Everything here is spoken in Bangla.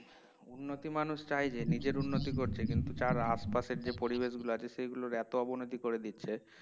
উন্নতি মানুষ চায় যে নিজের উন্নতি করছে কিন্তু তার আশপাশের যে পরিবেশগুলো আছে সেগুলোর এতো অবনতি করে দিচ্ছে